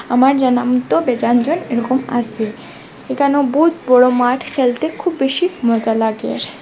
আমার জানামত বেযান জন এরকম আসে একানো বহুদ বড় মাঠ খেলতে খুব বেশি মজা লাগে।